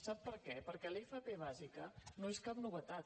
sap per què perquè l’fp bàsica no és cap novetat